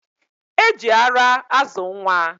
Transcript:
E ji ara azụ nwa.